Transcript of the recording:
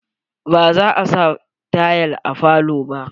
Ba za a sa tayal a falo ba.